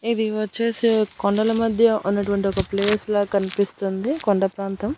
ఇది వచ్చేసి కొండల మధ్య ఉన్నటువంటి ఒక ప్లేస్ ల కనిపిస్తుంది కొండ ప్రాంతం.